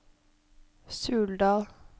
Suldal